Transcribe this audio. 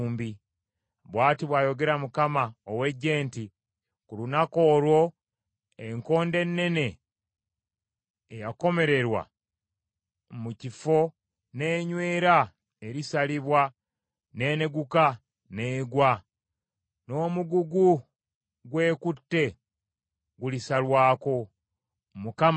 Bw’ati bw’ayogera Katonda ow’Eggye nti, “Ku lunaku olwo, enkondo ennene eyakomererwa mu kifo n’enywera erisalibwa, n’eneguka, n’egwa, n’omugugu gw’ekutte gulisarwako.” Mukama ayogedde.